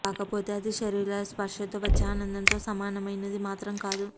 కాకపోతే ఇది శరీరాల స్పర్శతో వచ్చే ఆనందంతో సమానమైనది మాత్రం కాదు